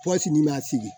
Pɔsi ni ma sigi